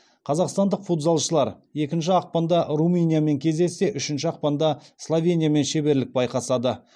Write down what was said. қазақстандық футзалшылар екінші ақпанда румыниямен кездессе үшінші ақпанда словениямен шеберлік байқасады